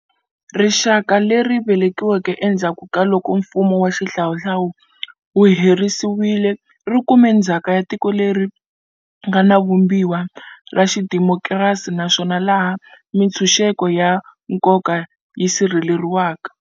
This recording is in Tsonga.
Rixaka leri nga velekiwa endzhaku kaloko mfumo wa xihlawuhlawu wu herisiwile ri kume ndzhaka ya tiko leri nga na Vumbiwa ra xidemokirasi naswona laha mitshunxeko ya nkoka yi sirheleriwaka.